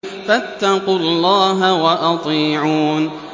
فَاتَّقُوا اللَّهَ وَأَطِيعُونِ